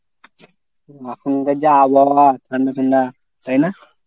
এখনকার যা আবহাওয়া ঠান্ডা ঠান্ডা। তাই না?